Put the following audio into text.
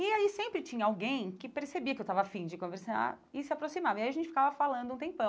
E aí sempre tinha alguém que percebia que eu estava afim de conversar e se aproximava, e aí a gente ficava falando um tempão.